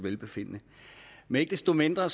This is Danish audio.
velbefindende men ikke desto mindre er